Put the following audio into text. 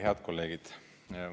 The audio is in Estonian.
Head kolleegid!